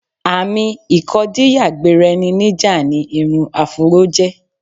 Àmì ìkọdíyà-gbera-ẹni-níjà ni irun afúró jẹ́.